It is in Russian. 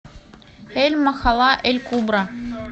эль махалла эль кубра